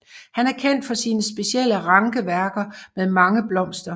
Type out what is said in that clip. Han er kendt for sine specielle rankeværker med mange blomster